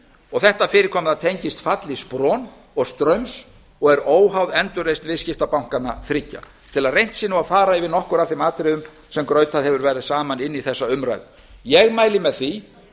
og þetta fyrirkomulag tengist falli spron og straums og er óháð endurreisn viðskiptabankanna þriggja svo reynt sé að fara yfir nokkur af þeim atriðum sem grautað hefur verið saman inn í þessa umræðu ég mæli með því